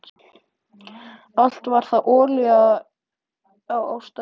Allt var það olía á ástareldinn.